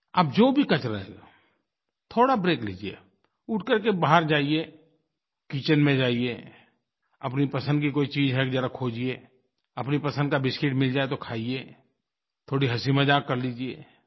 आप जो भी कर रहे हों थोड़ा ब्रेक लीजिए उठ करके बाहर जाइए किचेन में जाइए अपनी पसंद की कोई चीज़ है ज़रा खोजिए अपनी पसंद का बिस्किट मिल जाए तो खाइए थोड़ी हँसीमज़ाक कर लीजिए